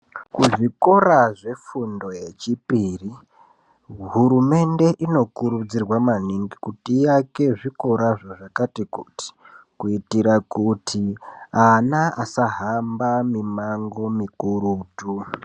Kuzvikora zvefundo yechipiri, hurumende inokurudzirwa maningi kuti iake zvikorazvo zvakati, kuitira kuti, ana asahamba mimango mikurutu.